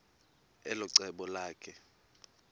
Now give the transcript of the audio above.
elo cebo lakhe